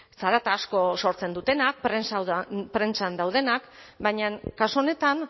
zarata asko sortzen dutenak prentsan daudenak baina kasu honetan